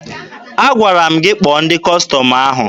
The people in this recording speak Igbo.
Agwara m gị kpọọ ndị Kọstọm ahụ!